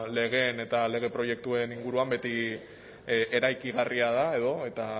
legeen eta lege proiektuen inguruan beti eraikigarria da edo eta